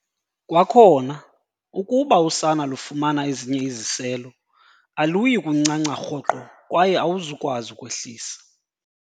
Kwakhona, ukuba usana lufumana ezinye iziselo, aluyi kuncanca rhoqo kwaye awuzukwazi ukwehlisa.